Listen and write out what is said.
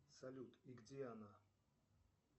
салют и где она